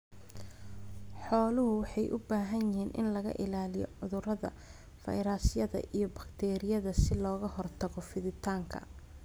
Xooluhu waxay u baahan yihiin in laga ilaaliyo cudurrada fayrasyada iyo bakteeriyada si looga hortago fiditaanka.